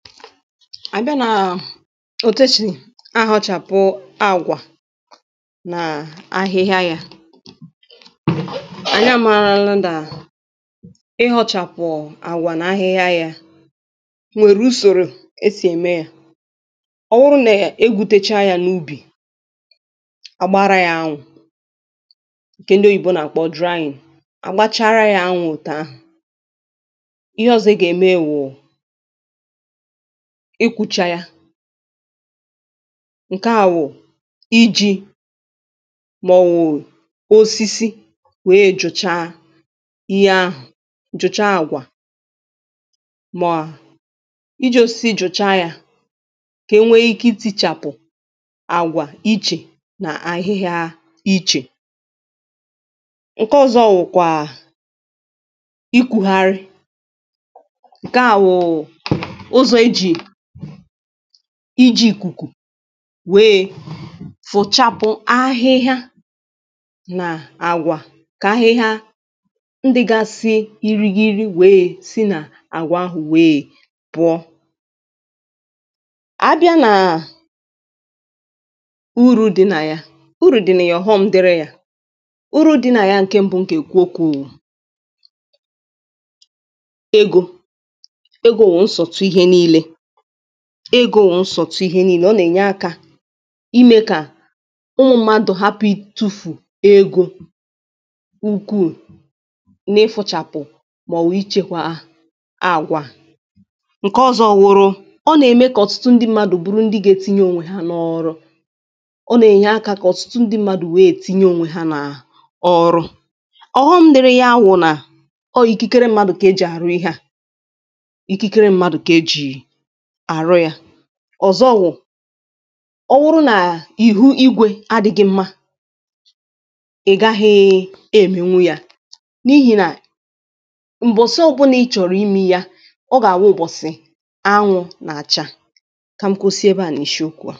abịa nà òtù esì ahọ̄chàpụ àgwà nà ahịhịa yā ànyị àmaralụ nà ịhọ̄chàpụ̀ àgwà nà ahịhịa yā nwèrè usòrò esì ème yā ọ wụrụ nà egwutecha yā n’ubì àgbara yā anwụ̄ ǹkè ndị oyibo nà-àkpọ drying agbachara yā anwụ̄ òtù ahụ̀ ihe ọ̄zọ̄ ị gà-ème wụ̀ ikūchà yà ǹke à wụ̀ ijī mà ọ̀ wụ̀ osisi wèe jụ̀cha ihe ahụ̀ jụ̀cha àgwà mà ijī osisi jụ̀cha yā kà enwe ike itīchàpụ̀ àgwà ichè nà ahịhịa ichè ǹke ọ̄zọ̄ wụ̀kwà ikùharị ǹke à wụ̀ ụzọ̀ ejì ijī ìkùkù nweè fụchàpụ ahịhịa nà àgwà kà ahịhịa ndị̄gāsị̄ irigiri nweè si nà àgwà ahụ̀ nweè pụ̀ọ ábịá nà urū dị̄ nà ya urù dị̀ nà ya ọ̀ghọm̄ dịrị yā urū dị̄ nà ya ǹke m̄bụ̄ m gà-èkwu okwū wụ̀ egō, egō wụ̀ nsọ̀tụ ihe niīlē egō wụ̀ nsọ̀tụ ihe niīlē ọ nà-ènye akā imē kà ụmụ̄ mmadụ̀ hapụ̀ itūfù egō ukwuù n’ịfụ̄chàpụ̀ màọ̀wụ̀ ichēkwā àgwà ǹke ọ̄zọ̄ wụ̀rụ̀ ọ nà-ème kà ọ̀tụtụ ndị m̄mādụ̀ bụrụ ndị ga-etinye ònwe hā n’ọ̄rụ̄ ọ nà-ènye akā kà ọ̀tụtụ ndị m̄mādụ̀ nweè tinye ònwe hā nà ọrụ ọ̀ghọm̄ dịrị ya wụ̀ nà ọ wụ̀ ikikere m̄mādụ̀ kà ejì àrụ ihe à ikikere m̄mādụ̀ kà ejì àrụ yā ọ̀zọ wụ̀ ọ wụrụ nà ihu igwē adị̄ghị̄ m̄mā ị̀ gaghị̄ èmenwu yā n’ihì nà m̀bọ̀sị ọ̄bụ̄nà ị chọ̀rọ̀ imē yā ọ gà-àwụ ụ̀bọ̀sị̀ anwụ̄ nà-àcha kà m kụsị ebe à n’ishi okwū à